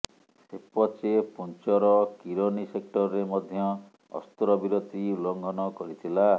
ସେପଚେ ପୁଞ୍ଚର କିରନୀ ସେକ୍ଚରରେ ମଧ୍ୟ ଅସ୍ତ୍ରବିରତି ଉଲ୍ଲଂଘନ କରିଥିଲା